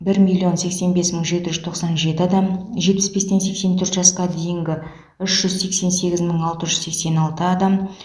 бір миллион сексен бес мың жеті жүз тоқсан жеті адам жетпіс бестен сексен төрт жасқа дейінгі үш жүз сексен сегіз мың алты жүз сексен алты адам